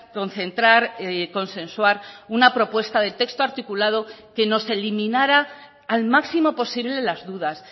concentrar consensuar una propuesta de texto articulado que nos eliminara al máximo posible las dudas